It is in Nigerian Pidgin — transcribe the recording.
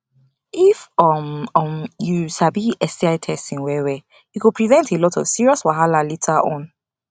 if um um u sabi sti testing well well e go prevent a lot of serious wahala later on